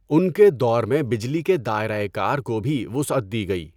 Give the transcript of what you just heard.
ان کے دور میں بجلی کے دائرہٴ کار کو بھی وسعت دی گئی۔